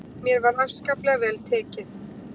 Mér var afskaplega vel tekið.